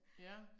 Ja